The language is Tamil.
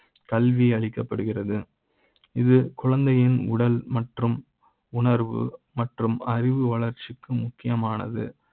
கல்வி அளிக்க ப்படுகிறது இது குழந்தை யின் உடல் மற்றும் உணர்வு மற்றும் அறிவு வளர்ச்சி க்கு முக்கியமானது.